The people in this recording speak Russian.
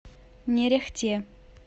нерехте